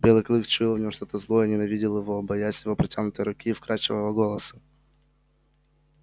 белый клык чуял в нем что то злое и ненавидел его боясь его протянутой руки и вкрадчивого голоса